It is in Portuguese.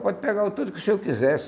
Pode pegar o tanto que o senhor quisesse.